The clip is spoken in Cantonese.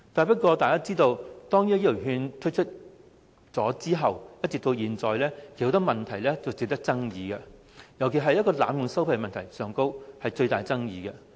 不過，大家都知道，自醫療券推出後，至今一直有很多問題及爭議，尤其是濫用收費的問題，具最大爭議。